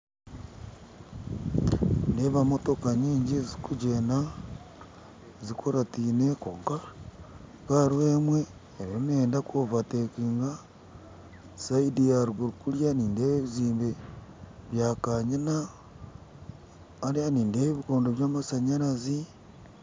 Nindeeba Motoka nyinji ezikugyenda zikuratine konka hariho emwe eriyo neyenda kuovatekinga, sayidi yaruguru kuriya nindeba nazakanyina, hariya nindeeba ebikondo byamashanyarazi